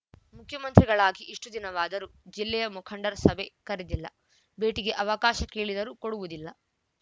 ಮುಖ್ಯಮಂತ್ರಿಗಳಾಗಿ ಇಷ್ಟುದಿನವಾದರೂ ಜಿಲ್ಲೆಯ ಮುಖಂಡರ ಸಭೆ ಕರೆದಿಲ್ಲ ಭೇಟಿಗೆ ಅವಕಾಶ ಕೇಳಿದರೂ ಕೊಡುವುದಿಲ್ಲ